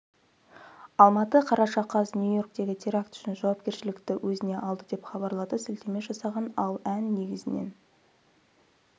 алматы қараша қаз нью-йорктегі теракт үшін жауапкершілікті өзіне алды деп хабарлады сілтеме жасаған ал ән негізінен